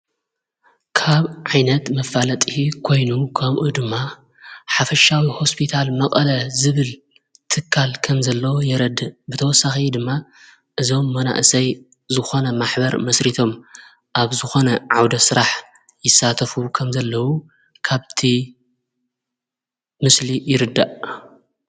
ካብ ዓይነት ምፋለጥ ኮይኑ ኸምኡ ድማ ሓፈሻዊ ሆስቢታል መቐለ ዝብል ትካል ከም ዘለዉ የረድ ብተወሳኸ ድማ እዞም መናእሰይ ዝኾነ ማኅበር ምስሪቶም ኣብ ዝኾነ ዓውደ ሥራሕ ይሳተፉ ከም ዘለዉ ካብቲ ምስሊ ይርዳእ።